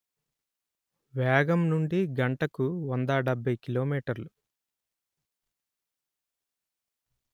వేగం నుండి గంటకు వంద డెబ్బై కిలో మీటర్లు